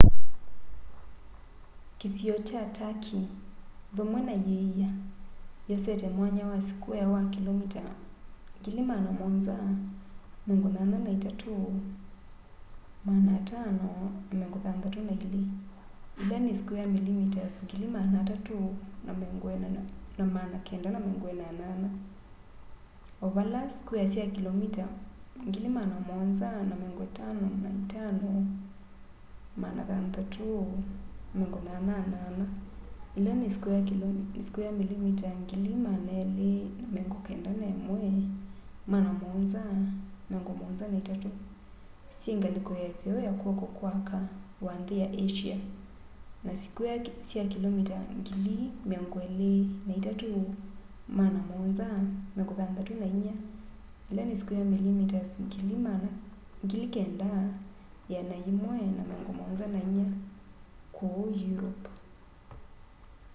kîsio kya turkey vamwe na îia yosete mwanya wa sikwea wa kilomita 783,562 300,948 sq mi o vala sikwea sya kilomita 755,688 291,773 sq mi syingaliko ya itheo ya kwoko kwa aka wa nthi ya asia na sikwea sya kilomita 23,764 9,174 sq mi ku europe